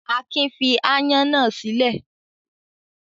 Akin fi aáyán náà sílé.